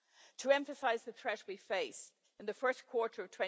To emphasise the threat we face in the first quarter of